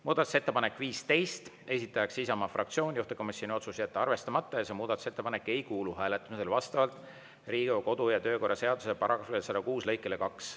Muudatusettepanek nr 15, esitaja on Isamaa fraktsioon, juhtivkomisjoni otsus on jätta arvestamata ning see muudatusettepanek ei kuulu hääletamisele vastavalt Riigikogu kodu- ja töökorra seaduse § 106 lõikele 2.